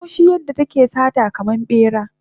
Akwai haushi yadda take sata kaman bera